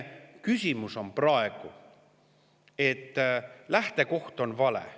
Küsimus on praegu selles, et lähtekoht on vale.